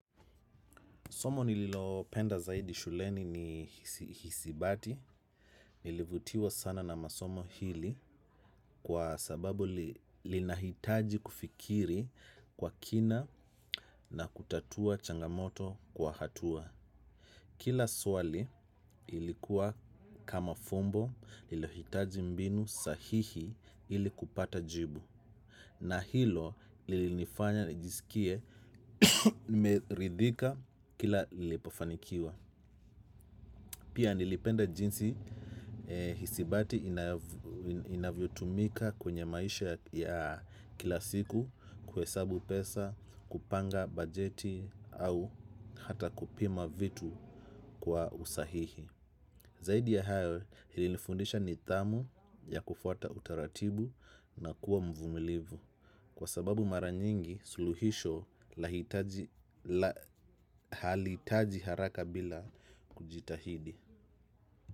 Somo nililopenda zaidi shuleni ni hisibati, nilivutiwa sana na masomo hili kwa sababu, linahitaji kufikiri kwa kina na kutatua changamoto kwa hatua. Kila swali ilikuwa kama fumbo lilohitaji mbinu sahihi ili kupata jibu na hilo lilinifanya nijisikie nimeridhika kila lilipofanikiwa. Pia nilipenda jinsi hisibati inavyo tumika kwenye maisha ya kila siku kuhesabu pesa, kupanga bajeti au hata kupima vitu kwa usahihi. Zaidi ya hayo lilinifundisha nidhamu ya kufuata utaratibu na kuwa mvumilivu kwa sababu maranyingi suluhisho lahitaji, halihitaji haraka bila kujitahidi.